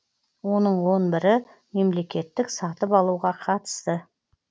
оның он бірі мемлекеттік сатып алуға қатысты